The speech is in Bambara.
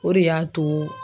O de y'a to.